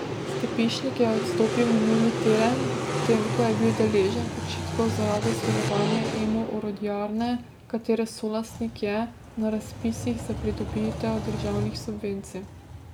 Stepišnik je odstopil minuli teden, potem ko je bil deležen očitkov zaradi sodelovanja Emo Orodjarne, katere solastnik je, na razpisih za pridobitev državnih subvencij.